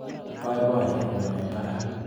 Baiabayenyu eng barak.